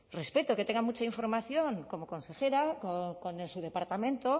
respeto que tenga mucha información como consejera con su departamento